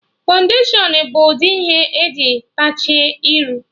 Fọụndashion bụ udi ihe eji teecha iru